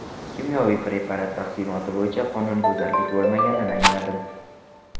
Kimyoviy preparat taqsimoti bo‘yicha qonunbuzarlik bo‘lmaganini angladim”.